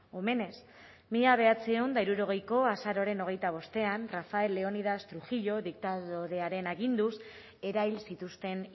omenez mila bederatziehun eta hirurogeiko azaroaren hogeita bostean rafael leónidas trujillo diktadorearen aginduz erahil zituzten